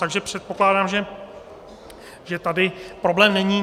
Takže předpokládám, že tady problém není.